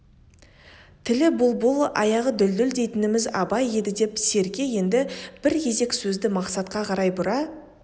тілі бұлбұл аяғы дүлдүл дейтініміз абай еді деп серке енді бір кезек сөзді мақсатқа қарай бұра